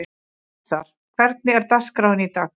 Öxar, hvernig er dagskráin í dag?